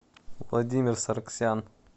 владимир сарксян